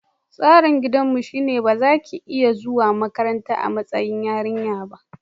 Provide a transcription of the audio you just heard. Tsarin gidanmu shine ba za ki iya zuwa makaranta a matsayin yarinya ba.